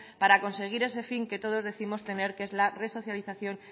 para conseguir ese fin que todos décimos tener que es resocialización